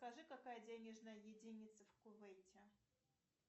скажи какая денежная единица в кувейте